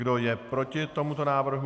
Kdo je proti tomuto návrhu?